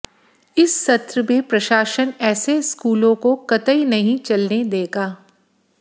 इस सत्र में प्रशासन ऐसे स्कूलों को कतई नहीं चलने देगा